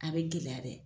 A bɛ gɛlɛya bɛ